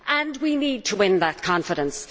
And we need to win that confidence.